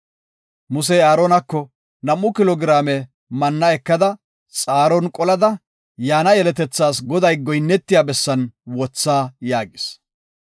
Musey Aaronako, “Nam7u kilo giraame manna ekada xaaron qolada yaana yeletethaas Goday goyinnetiya bessan wotha” yaagis.